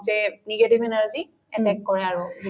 যে negative energy attack কৰে আৰু